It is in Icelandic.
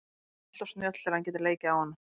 Hún er alltof snjöll til að hann geti leikið á hana.